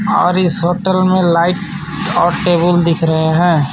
और इस होटल में लाइट और टेबल दिख रहे हैं.